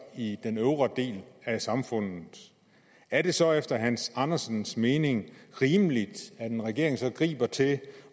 i den øvre del af samfundet er det så efter herre hans andersens mening rimeligt at en regering griber til at